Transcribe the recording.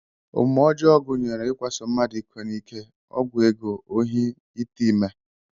Omume ọjọọ gụnyere ikwaso mmadụ iko n'ike, ọgwụ ego, ohi, ite ime